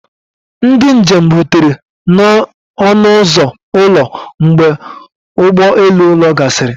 Ndị njem rutere n'ọnụ ụzọ ụlọ mgbe ụgbọ elu ụlọ gasịrị